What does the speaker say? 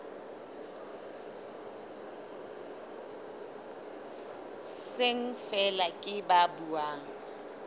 seng feela ke ba buang